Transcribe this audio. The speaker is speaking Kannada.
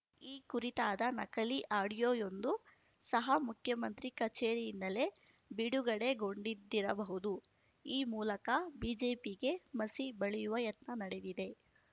ಈ ಕುರಿತಾದ ನಕಲಿ ಆಡಿಯೋಯೊಂದು ಸಹ ಮುಖ್ಯಮಂತ್ರಿ ಕಚೇರಿಯಿಂದಲೇ ಬಿಡುಗಡೆಗೊಂಡಿದ್ದಿರಬಹುದು ಈ ಮೂಲಕ ಬಿಜೆಪಿಗೆ ಮಸಿ ಬಳಿಯುವ ಯತ್ನ ನಡೆದಿದೆ